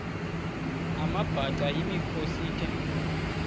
amabhaca yimikhosi the